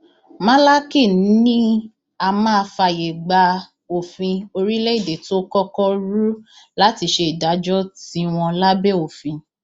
málákì ni á máa fààyè gba òfin orílẹèdè tó kọkọ rú láti ṣe ìdájọ tiwọn lábẹ òfin